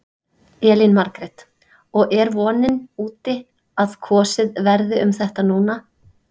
Elín Margrét: Og er vonin úti að að kosið verði um þetta núna?